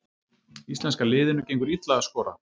Íslenska liðinu gengur illa að skora